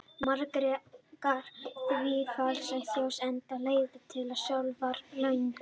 Margar þverár falla í Þjórsá enda er leiðin til sjávar löng.